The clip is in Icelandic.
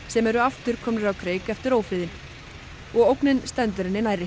sem eru aftur komnir á kreik eftir ófriðinn og ógnin stendur henni nærri